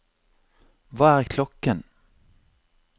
hva er klokken